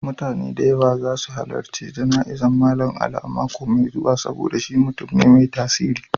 Mutane da yawa za su halarci jana'izar Mallam Ali a mako mai zuwa saboda shi mutum ne mai tasiri.